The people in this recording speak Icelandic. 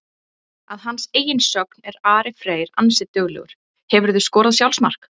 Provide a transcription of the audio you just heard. Að hans eigin sögn er Ari Freyr ansi duglegur Hefurðu skorað sjálfsmark?